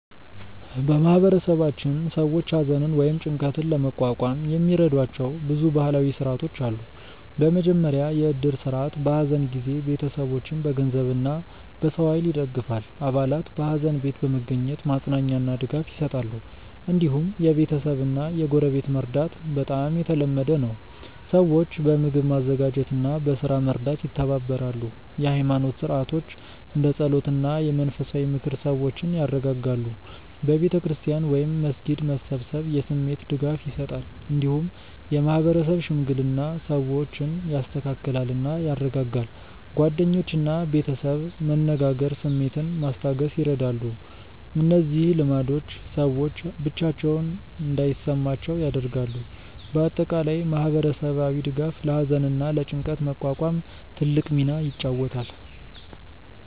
በማህበረሰባችን ሰዎች ሐዘንን ወይም ጭንቀትን ለመቋቋም የሚረዷቸው ብዙ ባህላዊ ሥርዓቶች አሉ። በመጀመሪያ የእድር ስርዓት በሐዘን ጊዜ ቤተሰቦችን በገንዘብ እና በሰው ኃይል ይደግፋል። አባላት በሐዘን ቤት በመገኘት ማጽናኛ እና ድጋፍ ይሰጣሉ። እንዲሁም የቤተሰብ እና የጎረቤት መርዳት በጣም የተለመደ ነው። ሰዎች በምግብ ማዘጋጀት እና በስራ መርዳት ይተባበራሉ። የኃይማኖት ሥርዓቶች እንደ ጸሎት እና የመንፈሳዊ ምክር ሰዎችን ያረጋጋሉ። በቤተ ክርስቲያን ወይም መስጊድ መሰብሰብ የስሜት ድጋፍ ይሰጣል። እንዲሁም የማህበረሰብ ሽምግልና ሰዎችን ያስተካክላል እና ያረጋጋል። ጓደኞች እና ቤተሰብ መነጋገር ስሜትን ማስታገስ ይረዳሉ። እነዚህ ልማዶች ሰዎች ብቻቸውን እንዳይሰማቸው ያደርጋሉ። በአጠቃላይ ማህበረሰባዊ ድጋፍ ለሐዘን እና ለጭንቀት መቋቋም ትልቅ ሚና ይጫወታል።